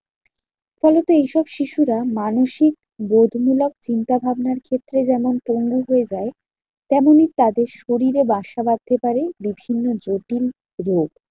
ফলত এইসব শিশুরা মানসিক বোধমূলক চিন্তাভাবনার ক্ষেত্রে যেমন পঙ্গু হয়ে যায়। তেমনই তাদের শরীরে বাসা বাঁধতে পারে বিভিন্ন জটিল রোগ।